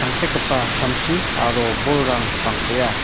tangsekgipa samsi aro bolrang bang·bea.